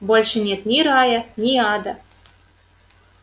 больше нет ни рая ни ада